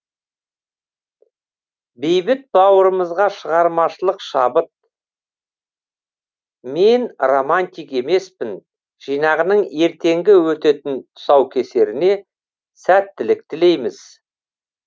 бейбіт бауырымызға шығармашылық шабыт мен романтик емеспін жинағының ертеңгі өтетін тұсукесеріне сәттілік тілейміз